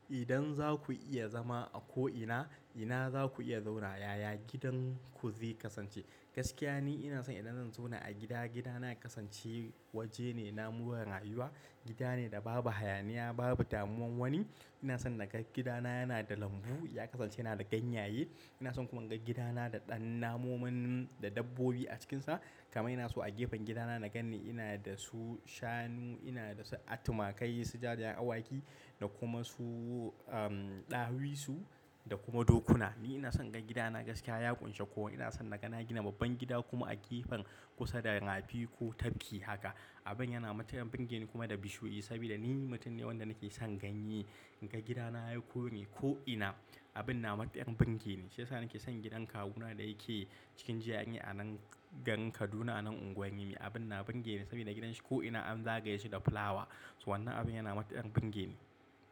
Idan za ku iya zama a ko'ina, ina za ku iya zauna yaya gidan ku zai kasance? Gaskiya ni ina son idan zan zauna a gida, gidana ya kasance waje ne na murna rayuwa. Gida ne da babu hayaniya, babu damuwan wani. Ina son na ga gidana yana da lambu, ya kasance yana da ganyaye. Ina son kuma na ga gidana da ɗan namomin, da dabbobi a cikinsa. Kama ina su a gefen gidana na gan ni ina da su shanu, ina da su, a, tumakai, su jariran awaki, da kuma su, um, ɗawisu da kuma dokuna. Ni ina son na ga gidana gaskiya ya ƙunshi kowa. Ina son na ga na gina babban gida kuma a gefen kusa da rafi ko tafki haka. Abin yana mata ɗan burge ni kuma da bishiyu, saboda ni mutum ne wanda nake son ganye. Na ga gidana ya koyi ko'ina. Abin na mata ɗan burge ne. Shiyasa nake son gidan kawuna da yake cikin GRA a nan garin Kaduna a nan unguwan rimi. Abin na burge ne saboda gidan shi ko'ina an zagaye shi da fulawa. So wannan abin yana mata ɗan burge ni.